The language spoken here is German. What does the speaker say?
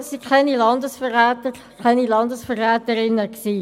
Sie alle waren keine Landesverräter und Landesverräterinnen.